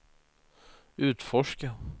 utforska